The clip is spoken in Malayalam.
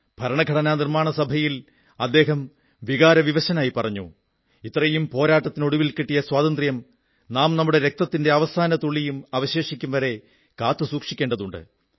ഭരണഘടനാ നിർമ്മാണ സഭയിൽ അദ്ദേഹം വികാരവിവശനായി പറഞ്ഞു ഇത്രയും പോരാട്ടത്തിനൊടുവിൽ കിട്ടിയ സ്വാതന്ത്ര്യം നാം നമ്മുടെ രക്തത്തിന്റെ അവസാന തുള്ളിയും അവശേഷിക്കും വരെ കാത്തുസൂക്ഷിക്കേണ്ടതുണ്ട്